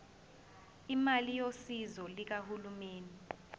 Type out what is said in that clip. imali yosizo lukahulumeni